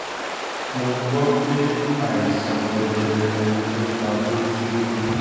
mo gbọ́ pé àìsàn jẹjẹrẹ ló pa pétérù